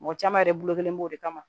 Mɔgɔ caman yɛrɛ bolo kelen b'o de kama